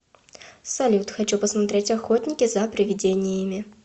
салют хочу посмотреть охотники за приведениями